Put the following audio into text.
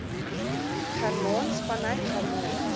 germaans vanuit germaans